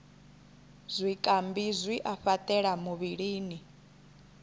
zwikambi zwi a fhaṱela muvhilini